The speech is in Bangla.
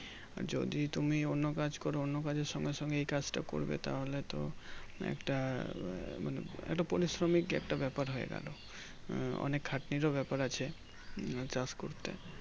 যদি তুমি অন্য কাজ করো অন্য কাজের সঙ্গে সঙ্গে এই কাজটা করবে তাহলে তো একটা মানে একটা পরিশ্রমীক একটা ব্যাপার হয়ে গেল অনেক খাটনিরও ব্যাপার আছে চাষ করতে